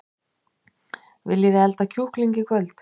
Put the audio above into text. Viljiði elda kjúkling í kvöld?